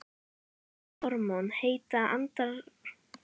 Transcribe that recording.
Karlhormón heita andrógen og verða til í eistunum og nýrnahettuberki.